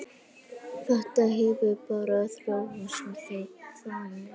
Þetta hefur bara þróast þannig.